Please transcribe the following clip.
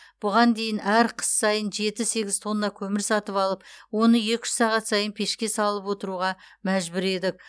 бұған дейін әр қыс сайын жеті сегіз тонна көмір сатып алып оны екі үш сағат сайын пешке салып отыруға мәжбүр едік